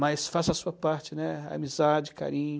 Mas faça a sua parte, né, amizade, carinho.